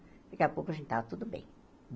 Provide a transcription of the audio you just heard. Daqui a pouco, a gente estava tudo bem.